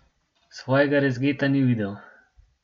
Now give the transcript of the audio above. Svojega rezgeta ni videl.